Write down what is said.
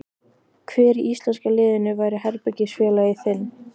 Hver í íslenska liðinu væri herbergisfélagi þinn?